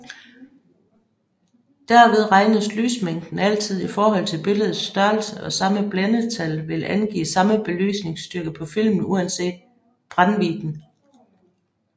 Derved regnes lysmængden altid i forhold til billedets størrelse og samme blændetal vil angive samme belysningsstyrke på filmen uanset brændvidden